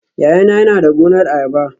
Yayana yana da gonar ayaba